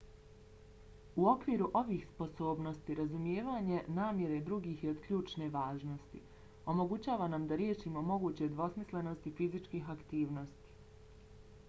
u okviru ovih sposobnosti razumijevanje namjere drugih je od ključne važnosti. omogućava nam da riješimo moguće dvosmislenosti fizičkih aktivnosti